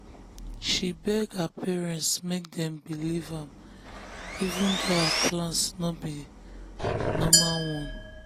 she beg her parents make dem believe am even though her plan no be normal one.